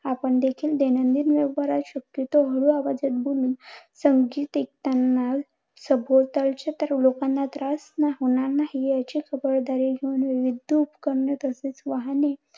आपण देखील दैनंदिन व्यवहारात शक्यतो हळू आवाजात बोलून, संगीत ऐकताना सभोवतालच्या तर लोकांना त्रास होणार नाही याची खबरदारी घेऊन, विद्यू उपकरणे तसेच वाहने